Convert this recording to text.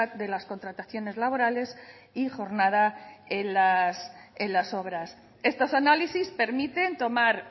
de las contrataciones laborales y jornada en las obras estos análisis permiten tomar